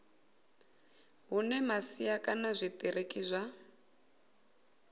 hune masia kana zwitiriki zwa